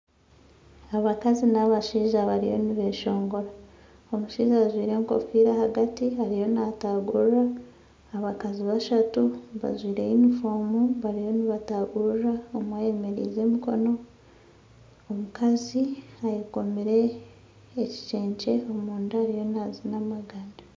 Abakazi n'abashaija bariyo nibeshongora omushaija ajwaire enkofiira ahagati ariyo naatagurira abakazi bashatu bajwaire yunifoomu bariyo nibatagurira omwe ayemereire emikoro omukazi ayekomire ekicence ari nkariyo naazina amaganda